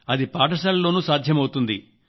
అది ఆస్పత్రిలో సాధ్యమవుతుంది